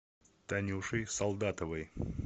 танюшей солдатовой